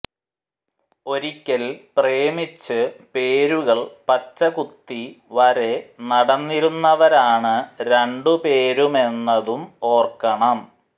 ഒരിക്കൽ പ്രേമിച്ച് പേരുകൾ പച്ചകുത്തി വരെ നടന്നിരുന്നവരാണ് രണ്ടു പേരുമെന്നതും ഓർക്കണം